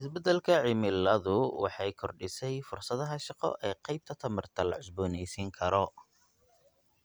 Isbeddelka cimiladu waxay kordhisay fursadaha shaqo ee qaybta tamarta la cusboonaysiin karo.